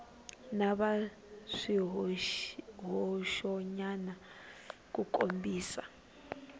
va na swihoxonyana ku kombisa